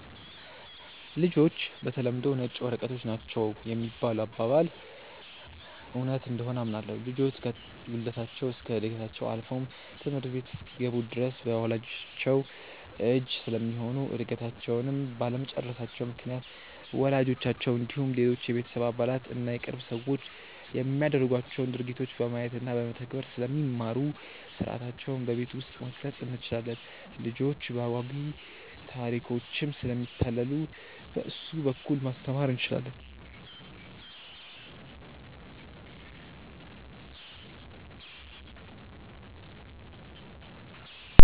''ልጆች በተለምዶ ነጭ ወረቀቶች ናቸው ''የሚባለው አባባል እውነት እንደሆነ አምናለሁ። ልጆች ከውልደታቸው እስከ ዕድገታቸው አልፎም ትምህርት ቤት እስኪገቡ ድረስ በወላጅቻቸው እጅ ስለሚሆኑ እድገታቸውንም ባለመጨረሳቸው ምክንያት ወላጆቻቸው እንዲሁም ሌሎች የቤተሰብ አባላት እና የቅርብ ሰዎች የሚያደርጓቸውን ድርጊቶች በማየት እና በመተግበር ስለሚማሩ ሥርዓታቸውን በቤት ውስጥ መቅረፅ እንችላለን። ልጆች በአጓጊ ታሪኮችም ስለሚታለሉ በእሱ በኩል ማስተማር እንችላለን።